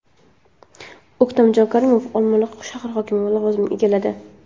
O‘ktamjon Karimov Olmaliq shahri hokimi lavozimini egalladi.